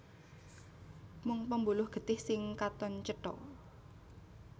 Mung pembuluh getih sing katon cetha